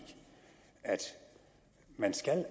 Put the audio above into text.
at man